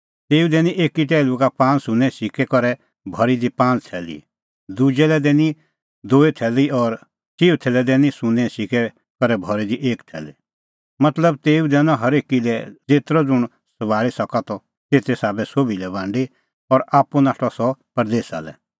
तेऊ दैनी एकी टैहलू का पांज़ सुन्नें सिक्कै करै भरी दी पांज़ थैली दुजै लै दैनी दूई थैली और चिऊथै लै दैनी सुन्नें सिक्कै करै भरी एक थैली मतलब तेऊ दैनअ हरेकी लै ज़ेतरअ ज़ुंण सभाल़ी सका त तेते साबै सोभी लै बांडी और आप्पू नाठअ सह परदेसा लै